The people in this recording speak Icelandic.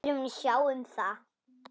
Aðrir munu sjá um það.